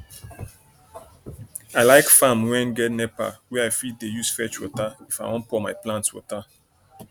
i like farm wen get nepa wey i fit use dey fetch water if i wan pour my plant water